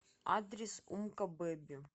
адрес умка бэби